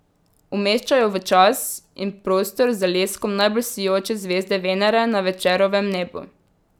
Umešča jo v čas in prostor z leskom najbolj sijoče zvezde Venere na Večerovem nebu.